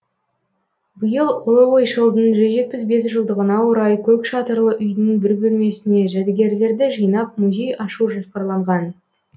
биыл ұлы ойшылдың жүз жетпіс бес жылдығына орай көк шатырлы үйдің бір бөлмесіне жәдігерлерді жинап музей ашу жоспарланған